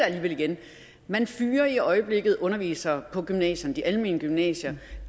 alligevel igen man fyrer i øjeblikket undervisere på gymnasierne de almene gymnasier